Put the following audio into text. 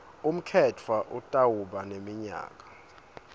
umkhetfwa utawuba neminyaka